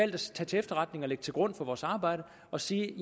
det til efterretning og lægge det til grund for vores arbejde og sige